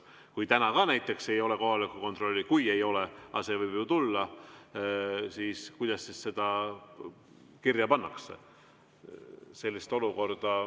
Kui täna ka näiteks ei ole kohaloleku kontrolli – kui ei ole, aga see võib tulla –, kuidas siis kirja pannakse?